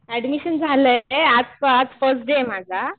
Admission झालंय.आज first day आहे माझा.